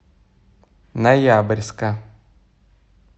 ноябрьска